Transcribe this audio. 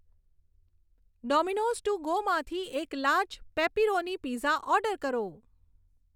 Domino's to go માંથી એક large pepperoni pizza order કરો